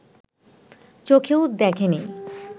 চোখেও দেখে নি